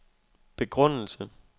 begrundelse